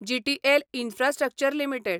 GTL infrastructure limited